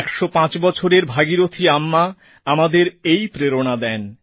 ১০৫ বছরের ভাগীরথী আম্মা আমাদের এই প্রেরণা দেন